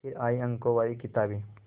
फिर आई अंकों वाली किताबें